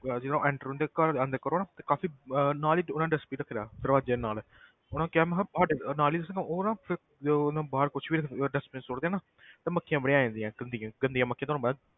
ਤੇ ਜਦੋਂ enter ਉਹਨਾਂ ਦੇ ਘਰ ਜਦੋਂ ਕਰੋ ਨਾ ਤੇ ਕਾਫ਼ੀ ਅਹ ਨਾਲ ਹੀ ਉਹਨਾਂ ਨੇ dustbin ਰੱਖੇ ਦਾ ਦਰਵਾਜ਼ੇ ਦੇ ਨਾਲ ਉਹਨਾਂ ਕਿਹਾ ਮੈਂ ਕਿਹਾ ਸਾਡੇ ਨਾਲ ਹੀ ਸਾਨੂੰ ਉਹ ਨਾ ਫਿਰ ਤੇ ਉਹ ਨਾ ਬਾਹਰ ਕੁਛ ਵੀ ਰੱਖ ਉਹ dustbin 'ਚ ਸੁੱਟਦੇ ਆ ਨਾ ਤੇ ਮੱਖੀਆਂ ਬੜੀਆਂ ਆ ਜਾਂਦੀਆਂ ਗੰਦੀਆਂ ਗੰਦੀਆਂ ਮੱਖੀਆਂ ਤੁਹਾਨੂੰ ਪਤਾ,